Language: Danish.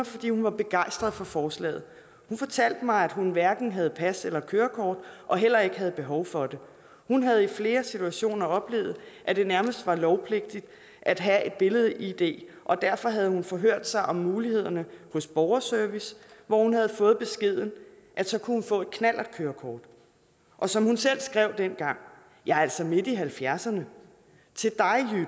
fordi hun var begejstret for forslaget hun fortalte mig at hun hverken havde pas eller kørekort og heller ikke havde behov for det hun havde i flere situationer oplevet at det nærmest var lovpligtigt at have et billed id og derfor havde hun forhørt sig om mulighederne hos borgerservice hvor hun havde fået beskeden at så kunne hun få et knallertkørekort og som hun selv skrev dengang jeg er altså midt i halvfjerdserne